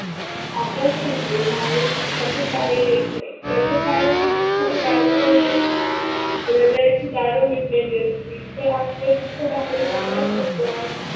आपण म्हणतो माणूस दुखातून बाहेर येत नाही, त्याच कारण ते दुखला बाहेर जाऊ देत नाही. हृदयाची दारे मिटलेली असते तर आतले दुख बाहेर जाणार कस?